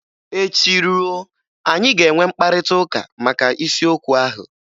Echi ruo, anyị ga-enwe mkparịtaụka maka isiokwu ahụ.